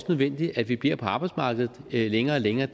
nødvendigt at vi bliver på arbejdsmarkedet længere og længere